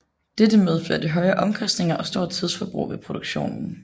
Dette medførte høje omkostninger og stort tidsforbrug ved produktionen